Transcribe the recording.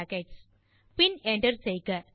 greet பின் enter செய்க